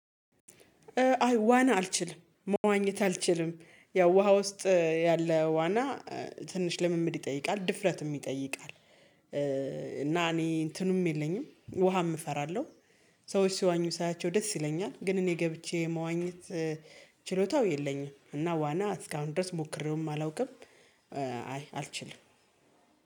አይ ዋና አልችልም መዋኘት አልችልም ያው ውሃ ውስጥ ያለ ዋና ትንሽ ልምምድ ይጠይቃል ድፍረትም ይጠይቃል። እና እኔ እንትኑም የለኝም ውሃም እፈራለሁ። ሰዎች ሲዋኙ ሳያቸው ደስ ይለኛል ግን እኔ ገብቼ መዋኘት ችሎታው የለኝም። እና ዋና እስካሁን ድረስ ሞክሬውም አላውቅም። አይ አልችልም